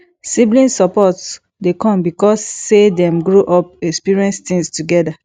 sibling support de come because say dem grow up experience things together